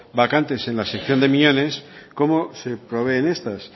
vacantes en la sección de miñones cómo se proveen estas